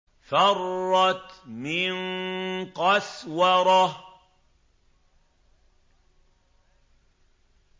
فَرَّتْ مِن قَسْوَرَةٍ